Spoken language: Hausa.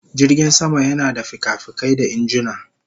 Jirgin sama yana da fikafikai da injuna